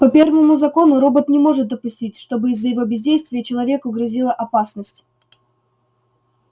по первому закону робот не может допустить чтобы из-за его бездействия человеку грозила опасность